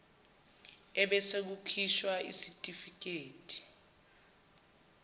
ebese kukhishwa isitifikedi